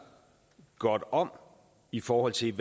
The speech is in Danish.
godt om i forhold til